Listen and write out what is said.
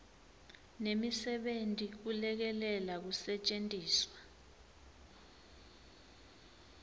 nemisebenti kulekelela kusetjentiswa